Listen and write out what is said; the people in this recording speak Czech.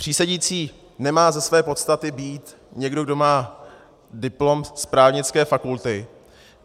Přísedící nemá ze své podstaty být někdo, kdo má diplom z právnické fakulty.